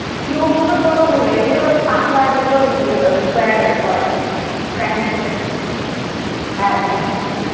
cube তো হচ্ছে ছোট গুল। এগুলো হচ্ছে পাতলা যেগুলো ওই sqaure ওয়ালা। Sandwich দেয়। হ্যাঁ, slice slice ।